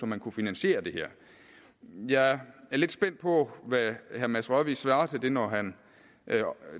man kan finansiere det her jeg er lidt spændt på hvad herre mads rørvig svarer til det når han